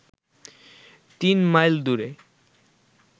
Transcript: ৩ mile দূরে